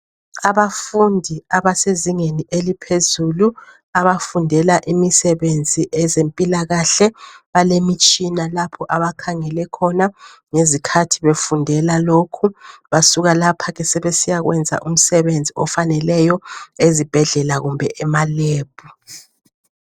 Abafundi abasezingeni eliphezulu abafundela imisebenzi ezempila kahle bale mitshina abakhangele khona ngezikhathi befundeka lokhu basuka lapho ke sebesiya kwenza umsebenzi ofaneleyo ezibhedlela kumbe ema "lab" .